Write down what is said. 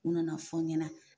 U nana fɔ n ɲɛna